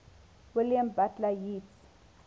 william butler yeats